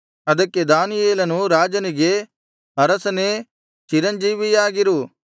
ಅದಕ್ಕೆ ದಾನಿಯೇಲನು ರಾಜನಿಗೆ ಅರಸನೇ ಚಿರಂಜೀವಿಯಾಗಿರು